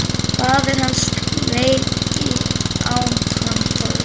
Faðir hans leit á hann forvitinn.